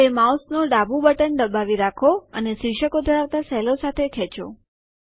હવે માઉસનું ડાબું બટન દબાવી રાખો અને શિર્ષકો ધરાવતા સેલો સાથે ખેંચો